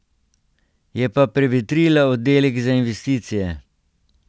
Je pa prevetrila oddelek za investicije.